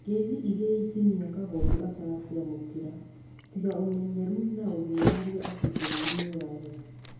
Ngeithi iria injinia kagondu ataraciamũkĩra tiga ũmenyeru na ũthuthuria atĩ bũrũrĩ nĩ rũrarĩra